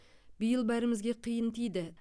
биыл бәрімізге қиын тиді